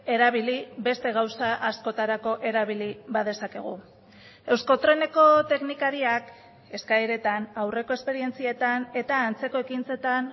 erabili beste gauza askotarako erabili badezakegu euskotreneko teknikariak eskaeretan aurreko esperientzietan eta antzeko ekintzetan